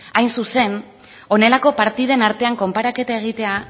hain zuzen honelako partiden artean konparaketa egitea